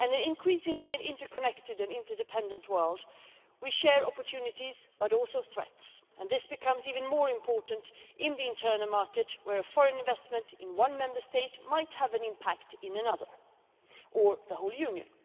Increasingly, in an interconnected and interdependent world, we share opportunities but also threats, and this becomes even more important in the internal market where a foreign investment in one Member State might have an impact in another, or the whole Union.